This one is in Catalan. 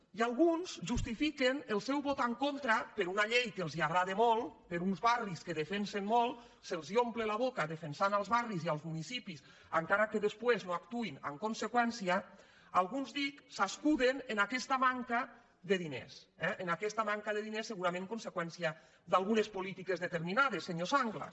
i alguns justifiquen el seu vot en contra per a una llei que els agrada molt per a uns barris que defensen molt se’ls omple la boca defensant els barris i els municipis encara que després no actuïn en conseqüència alguns dic s’escuden en aquesta manca de diners eh en aquesta manca de diners segurament conseqüència d’algunes polítiques determinades senyor sanglas